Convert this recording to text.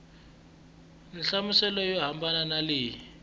nhlamuselo yo hambana na leyi